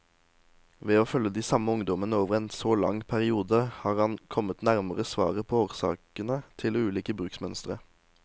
Ved å følge de samme ungdommene over en så lang periode, har han kommet nærmere svaret på årsakene til ulike bruksmønstre.